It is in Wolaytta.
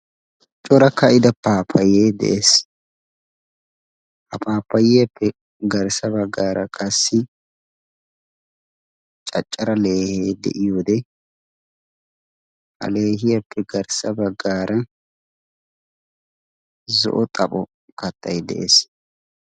Cora ka'ida paapayee de'ees, ha paappayiyaappe garssa bagaara qassi caccara leehee de'iyoode ha leehiyaappe garssa bagaara zo"o xapho kattay de'ees.